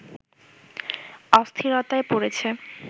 অস্থিরতায় পড়েছে